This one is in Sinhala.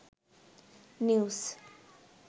news